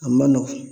A ma nɔgɔn